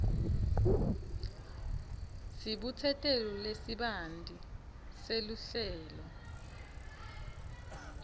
sibutsetelo lesibanti seluhlelo